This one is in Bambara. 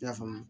I y'a faamu